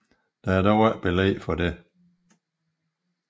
Der er dog ikke belæg for det